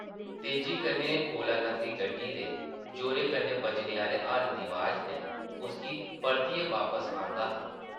तेज़ी कन्नै कोला लंघदी गड्डी दे जोरै कन्नै बज्जने आह्ले हार्न दी अवाज़ नै उसगी परतियै वापस आंह्दा हा ।